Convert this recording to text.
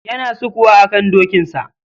Yana sukuwa akan dokinsa.